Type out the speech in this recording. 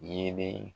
Yeelen